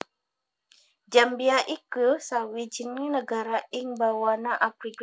Zambia iku sawijining nagara ing bawana Afrika